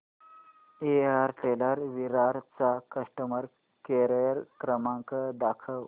Airtel Virar चा customer care number दाखव